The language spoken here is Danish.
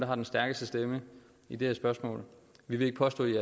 har den stærkeste stemme i det her spørgsmål vi vil ikke påstå i